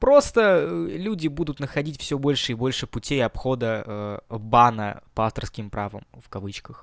просто люди будут находить всё больше и больше путей обхода бана по авторским правам в кавычках